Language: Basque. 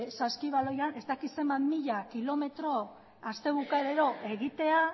saskibaloian ez dakit zenbat mila kilometro aste bukaerero egitea